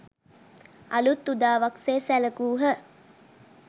අලූත් උදාවක් සේ සැලකූහ